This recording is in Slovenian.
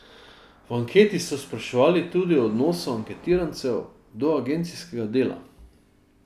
V anketi so spraševali tudi o odnosu anketirancev do agencijskega dela.